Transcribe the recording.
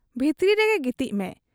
ᱵᱷᱤᱛᱨᱤ ᱨᱮᱜᱮ ᱜᱤᱛᱤᱡ ᱢᱮ ᱾'